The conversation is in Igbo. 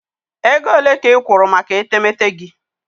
Ego ole ka ị kwụrụ maka etemeete gị?